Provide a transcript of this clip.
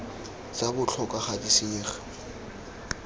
tsa botlhokwa ga di senyege